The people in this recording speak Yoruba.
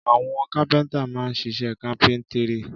Àwọn kápẹ́ńtà máa ń ṣiṣẹ́ kápẹ́ńtírì.